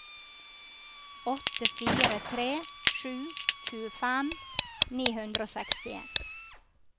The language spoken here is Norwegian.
åtte fire tre sju tjuefem ni hundre og sekstien